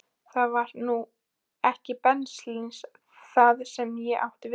Það var nú ekki beinlínis það sem ég átti við.